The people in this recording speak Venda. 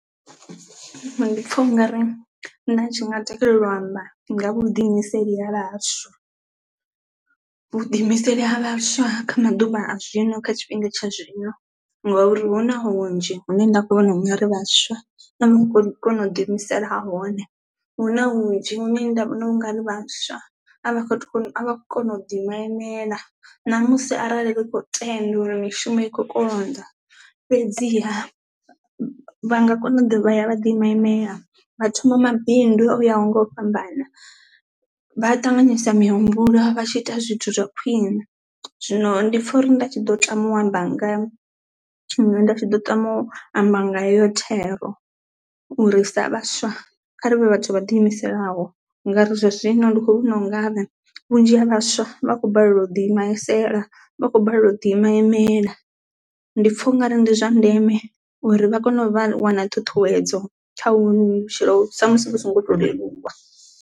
Ndi pfha ungari nda tshi nga takalela u amba nga vhu ḓiimiseli ha vhaswa, vhu ḓiimiseli ha vhaswa kha maḓuvha a zwino kha tshifhinga tsha zwino ngauri huna hunzhi hune nda kho vhona ungari vhaswa a vha khou kona u ḓi imisela hone, hu na hunzhi hune nda vhona ungari vhaswa a vha kho avha kho to kona u ḓi ima imele na musi arali ri kho tenda uri mishumo ikho konḓa fhedziha vha nga kona u ḓa vha ya vha ḓi ima imele vha thoma mabindu o yaho nga u fhambana. Vha a ṱanganyisa mihumbulo vha tshi ita zwithu zwa khwiṋe, zwino ndi pfha uri nda tshi ḓo tama u amba nga tshiṅwe nda tshi ḓo tama u amba nga iyo thero u ri sa vhaswa kha rivhe vhathu vha ḓiimiselaho ngari zwa zwino ndi kho vhona ungari vhunzhi ha vhaswa vha khou balelwa u ḓi imisela vhakho balelwa u ḓi ima imela, ndi pfha ungari ndi zwa ndeme uri vha kone u vha wana ṱhuṱhuwedzo kha hovhunoni vhutshilo sa musi vhu so ngo to leluwa.